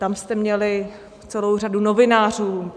Tam jste měli celou řadu novinářů.